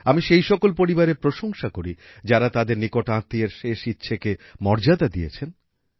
আমি সেই সকল পরিবারের প্রসংশা করি যারা তাদের নিকটাত্মীয়ের শেষ ইচ্ছকে মর্যাদা দিয়েছেন